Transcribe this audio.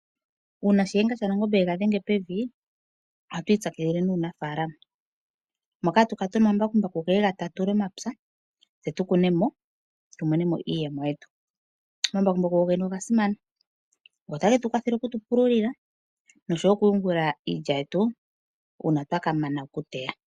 Uuna shiyenga shanangombe ye ga dhenge pevi, oha tu ipyakidhile nuuna faalama. Moka ha tu kala tuna omambakumbaku ha geya ge ye ga tatule omapya, tse tu kune mo, tu mone iiyemo yetu. Omambakumbaku go gene oga simana, ota ge tu kwathele oku tu pululila no sho wo oku yungula iilya yetu uuna twa ka mana okuteya.